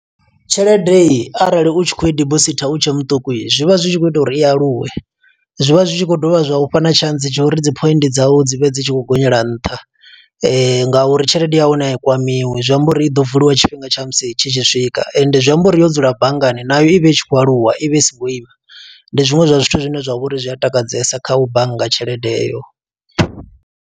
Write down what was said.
Tshelede heyi arali u tshi khou i dibosithi u tshe muṱuku, zwi vha zwi tshi khou ita uri i aluwe. Zwi vha zwi tshi khou dovha zwa ufha na tshantsi tsha uri dzi point dzau dzi vhe dzi tshi khou gonyela nṱha. Nga uri tshelede ya hone a i kwamiwi, zwi amba uri i ḓo vuliwa tshifhinga tsha musi tshi tshi swika. Ende zwi amba uri yo dzula banngani nayo i vha i tshi khou aluwa i vha i so ngo ima. Ndi zwiṅwe zwa zwithu zwine zwa vha uri zwi a takadzesa kha u bannga tshelede eyo.